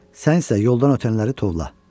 Sən isə yoldan ötənləri tovla.